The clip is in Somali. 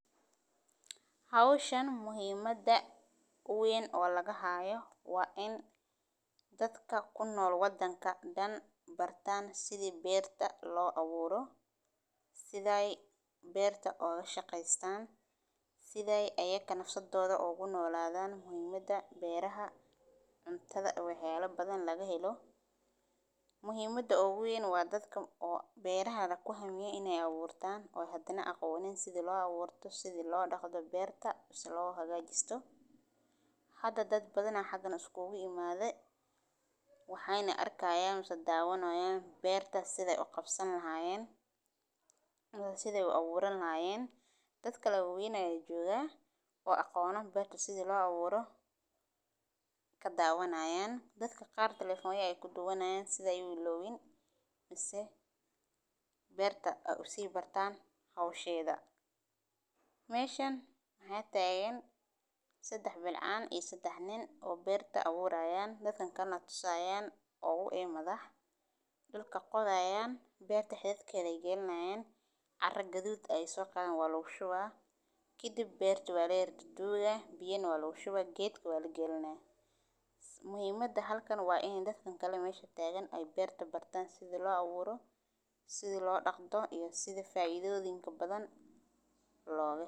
Howshan muhiimadheda weyn oo laga haayo waa in dhadka ku nool wadhanka dhaan ay bartaan sida beerta loo awuuro. Waa muhimad weyn u leh nolosha aduunka oo dhan, waxaana lagu daraa in lagu beerayo geedo badan oo noocyo kala duwan ah si loo xadeeyo cilladaha kala duwan ee ay sababto qurxinta cimilada, sida mawjadaha kulaylka, fatahaadka, iyo khilaafka biyaha, waxaana muhiim ah in bulshada oo dhan ay ka qayb qaadato mashruucan loogu talagalay beerista geedaha, gaar ahaan carruurta, ardayda, iyo shaqaalaha ururada bulshada rayidka ah, si ay u korriyaan geedo tayo leh oo sii xoojinaya deegaanka, waxaana lagama maarmaan ah in la sameeyo ololaha wacyi galinta ee ku saabsan faa'iidooyinka beerista geedaha.